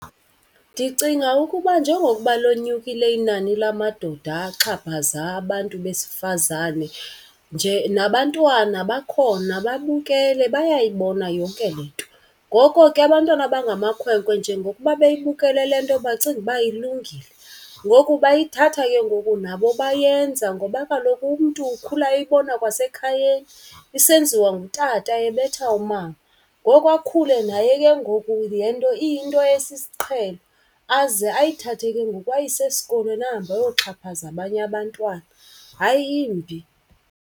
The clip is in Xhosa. Ndicinga ukuba njengokuba linyukile inani lamadoda axhaphaza abantu besifazane nje nabantwana bakhona babukele, bayayibona yonke le nto. Ngoko ke abantwana abangamakhwenkwe njengokuba beyibukele le nto bacinga uba ilungile. Ngoku bayithatha ke ngoku nabo bayenza ngoba kaloku umntu ukhula eyibona kwasekhayeni isenziwa ngutata ebetha umama. Ngoko akhule naye ke ngoku le nto iyinto esisiqhelo. Aze ayithathe ke ngoku ayise esikolweni ahambe ayoxhaphaza abanye abantwana, hayi yimbi.